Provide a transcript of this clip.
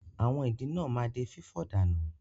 Àwọn ìdin náà ma di fífọ̀ dànù.